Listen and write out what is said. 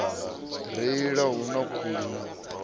reila hu na khuli na